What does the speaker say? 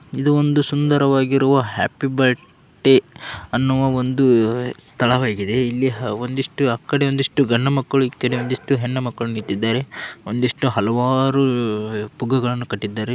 ಇದೊಂದು ಸುಂದರವಾಗಿರುವ happy birthday ಅನ್ನುವ ಒಂದು ಸ್ಥಳವಾಗಿದೆ. ಇಲ್ಲಿ ಒಂದಿಷ್ಟು ಆಕಡೆ ಒಂದಿಷ್ಟು ಇಷ್ಟು ಗಂಡು ಮಕ್ಕಳು ಈಕಡೆ ಒಂದಿಷ್ಟು ಹೆಣ್ಣು ಮಕ್ಕಳು ನಿಂತಿದ್ದಾರೆ. ಒಂದಿಷ್ಟು ಹಲವಾರು ಪುಗ್ಗ ಗಳ್ಳನು ಕಟ್ಟಿ ದ್ದಾರೆ.